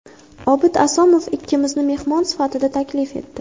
Obid Asomov ikkimizni mehmon sifatida taklif etdi.